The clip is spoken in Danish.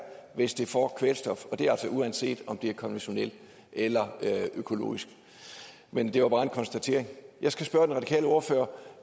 hvis det får kvælstof og det er altså uanset om det er konventionelt eller økologisk men det var bare en konstatering jeg skal spørge den radikale ordfører